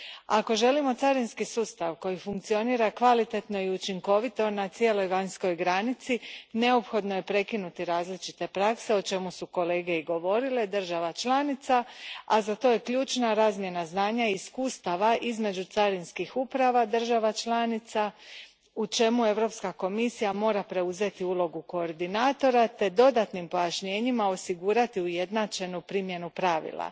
Ako želimo carinski sustav koji funkcionira kvalitetno i učinkovito na cijeloj vanjskoj granici, neophodno je prekinuti različite prakse država članica, o čemu su kolege i govorili, a za to je ključna razmjena znanja i iskustava između carinskih uprava država članica, u čemu Europska komisija mora preuzeti ulogu koordinatora te dodatnim pojašnjenjima osigurati ujednačenu primjenu pravila.